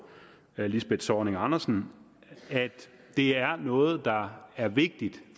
lisbeth zornig andersen at det er noget der er vigtigt